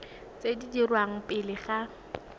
tse di dirwang pele ga